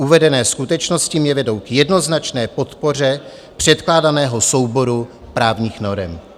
Uvedené skutečnosti mě vedou k jednoznačné podpoře předkládaného souboru právních norem.